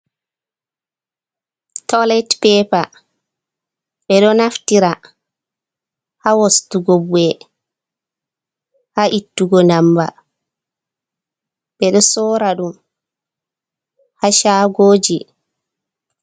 Tolet pepa, ɓe ɗo naftira haa wostugo bu`e, haa ittugo ndamba, ɓe ɗo sorra ɗum haa caagooji.